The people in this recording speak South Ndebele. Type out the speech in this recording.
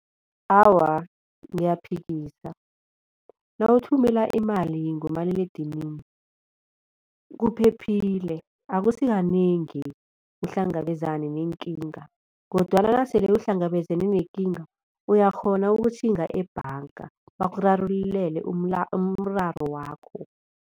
Awa, ngiyaphikisa nawuthumela imali ngomaliledinini kuphephile. Akusikanengi uhlangabezane neenkinga kodwana nasele uhlangabezene nekinga uyakghona ukutjhinga ebhanga bakurarululele umraro wakho.